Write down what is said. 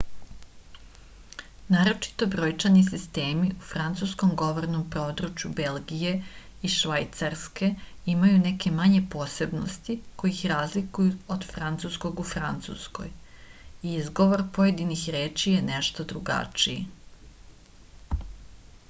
naročito brojčani sistemi u francuskom govornom području belgije i švajcarske imaju neke manje posebnosti koje ih razlikuju od francuskog u francuskoj i izgovor pojedinih reči je nešto drugačiji